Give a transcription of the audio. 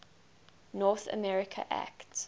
north america act